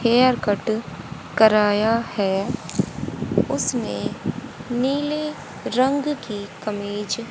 hair cut कराया है उसने नीले रंग की कमीज--